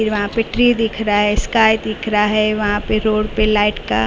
फिर वहां पे ट्री दिख रहा है स्काई दिख रहा है वहां पे रोड पे लाइट का--